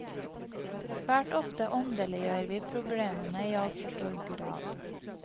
Svært ofte åndeliggjør vi problemene i altfor stor grad.